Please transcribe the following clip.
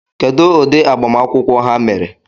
Kedụ ụdị agbamakwụkwọ ha mere?